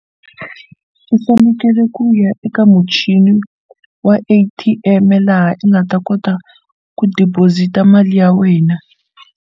U fanekele ku ya eka muchini wa A_T_M laha u nga ta kota ku deposit a mali ya wena.